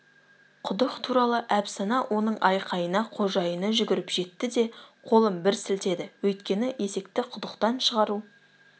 құдық туралы әпсана оның айқайына қожайыны жүгіріп жетті де қолын бір сілтеді өйткені есекті құдықтан шығару